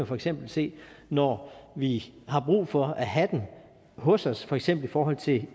for eksempel se når vi har brug for at have dem hos os for eksempel i forhold til